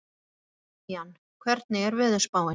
Damjan, hvernig er veðurspáin?